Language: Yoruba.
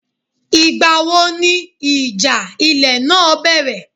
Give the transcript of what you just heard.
Ìgbà wo ni ìjà ilẹ̀ náà bẹ̀rẹ̀?